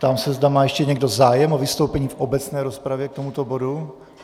Ptám se, zda má ještě někdo zájem o vystoupení v obecné rozpravě k tomuto bodu.